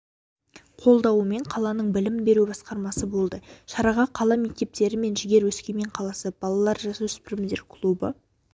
қолдауымен қаланың білім беру басқармасы болды шараға қала мектептері мен жігер өскемен қаласы балалар-жасөспірімдер клубы